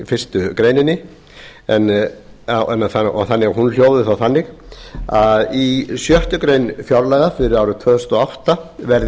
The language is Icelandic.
fyrstu greininni þannig að hún hljóði þá þannig að í sjöttu grein fjárlaga fyrir árið tvö þúsund og átta verði